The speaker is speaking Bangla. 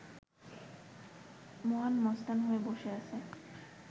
মহান মস্তান হয়ে বসে আছে